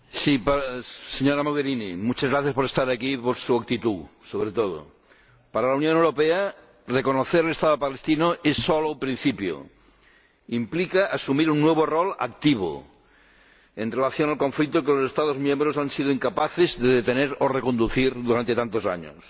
Señor Presidente, señora Mogherini, muchas gracias por estar aquí y por su actitud, sobre todo. Para la Unión Europea reconocer el Estado palestino es solo el principio. Implica asumir un nuevo papel activo en relación con el conflicto que los Estados miembros han sido incapaces de detener o reconducir durante tantos años.